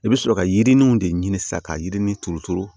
I bɛ sɔrɔ ka yiriniw de ɲini sa ka yirini turu turu